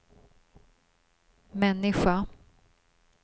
människa